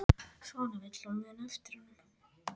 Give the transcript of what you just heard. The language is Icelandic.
Svona vill hún muna eftir honum.